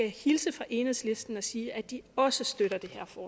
hilse fra enhedslisten og sige at de også støtter